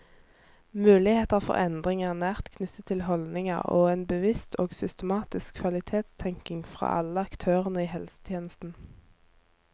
Muligheter for endring er nært knyttet til holdninger og en bevisst og systematisk kvalitetstenkning fra alle aktørene i helsetjenesten.